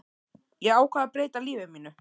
Ég ákvað að breyta lífi mínu.